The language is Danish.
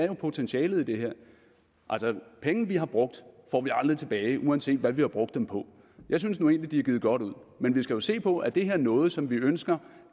jo potentialet i det her altså penge vi har brugt får vi aldrig tilbage uanset hvad vi har brugt dem på jeg synes nu egentlig de er givet godt ud men vi skal jo se på om det her er noget som vi ønsker